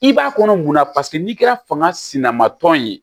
I b'a kɔnɔ munna paseke n'i kɛra fanga sina ma tɔn ye